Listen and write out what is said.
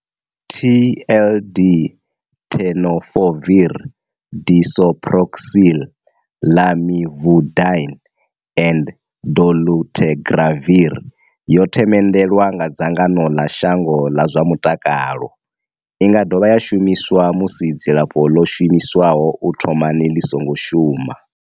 TLD, Tenofovir disoproxil, Lamivudine and dolutegravir, yo themendelwa nga dzangano ḽa shango ḽa zwa mutakalo. I nga dovha ya shumiswa musi dzilafho ḽo shumiswaho u thomani ḽi songo shuma.